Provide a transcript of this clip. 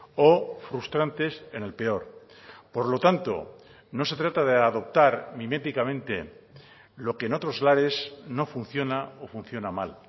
o frustrantes en el peor por lo tanto no se trata de adoptar miméticamente lo que en otros lares no funciona o funciona mal